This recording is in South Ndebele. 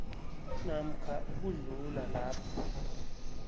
namkha ukudlula lapho